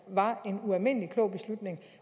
var en ualmindelig klog beslutning